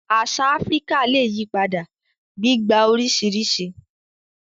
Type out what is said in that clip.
Àṣà Áfíríkà lè yí padà, gbígba oríṣiríṣi